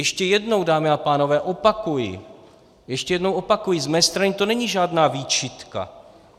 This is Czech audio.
Ještě jednou, dámy a pánové, opakuji, ještě jednou opakuji, z mé strany to není žádná výčitka.